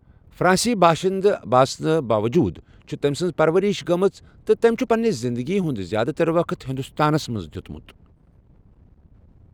فرانسی باشَنٛدٕ آسنہٕ باووٚجوٗد چھےٚ تٔمۍ سٕنٛز پرورِش گٔمٕژ تہٕ تٔمۍ چھُ پنِٛنہِ زِنٛدٕگی ہُنٛد زِیٛادٕ تر وقت ہندوستانس منٛز دیتمت۔